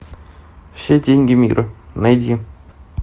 все деньги мира найди